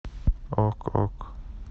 ок ок